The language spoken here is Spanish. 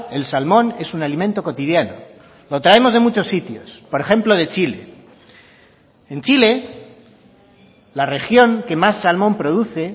el salmón es un alimento cotidiano lo traemos de muchos sitios por ejemplo de chile en chile la región que más salmón produce